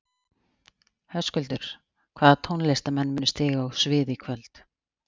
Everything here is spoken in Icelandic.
Höskuldur: Hvaða tónlistarmenn munu stíga á svið í kvöld?